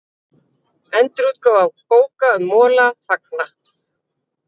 Endurútgáfu bóka um Mola fagnað